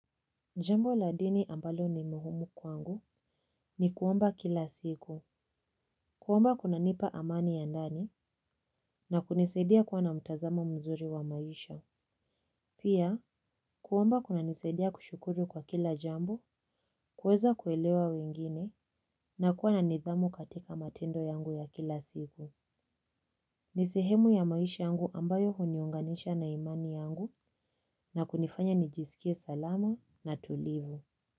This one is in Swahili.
Jambo la dini ambalo ni muhumu kwangu ni kuomba kila siku, kuomba kunanipa amani ya ndani na kunisaidia kuwa na mtazamo mzuri wa maisha. Pia, kuomba kunanisaidia kushukuru kwa kila jambo, kuweza kuelewa wengine na kuwa na nidhamu katika matendo yangu ya kila siku. Ni sehemu ya maisha yangu ambayo huniunganisha na imani yangu na kunifanya nijisikie salama na tulivu.